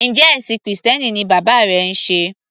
Njẹ́ ẹ̀ṣìn krìstẹ́nì ni bàbá rẹ ń sé?